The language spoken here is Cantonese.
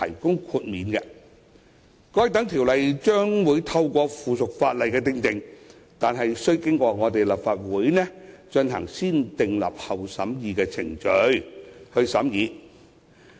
該等規例將透過附屬法例訂定，但須經過立法會進行"先訂立後審議"的程序。